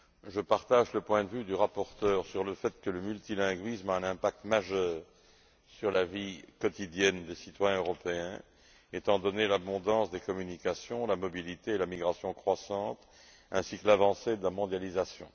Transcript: Je partage le point de vue du rapporteur selon lequel le multilinguisme a un impact majeur sur la vie quotidienne des citoyens européens étant donné l'abondance des communications, la mobilité et la migration croissantes ainsi que l'avancée de la mondialisation.